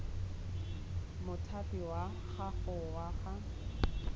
mothapi wa gago wa ga